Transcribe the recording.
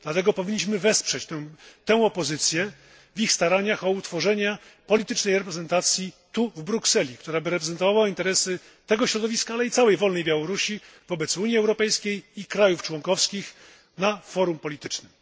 Dlatego powinniśmy wesprzeć tę opozycję w ich staraniach o utworzenie politycznej reprezentacji tu w Brukseli, która reprezentowałaby interesy tego środowiska, ale i całej wolnej Białorusi wobec Unii Europejskiej i krajów członkowskich na forum politycznym.